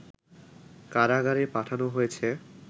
কারাগারে পাঠানো হয়েছে